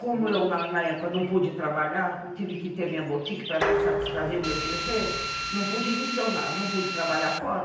Como eu, na época, não pude trabalhar, tive que ter minha boutique para satisfazer meus desejos, não pude adicionar, não pude trabalhar fora.